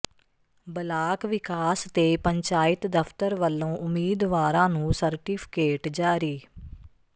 block ਵਿਕਾਸ ਤੇ ਪੰਚਾਇਤ ਦਫ਼ਤਰ ਵਲੋਂ ਉਮੀਦਵਾਰਾਂ ਨੂੰ ਸਰਟੀਫਿਕੇਟ ਜਾਰੀ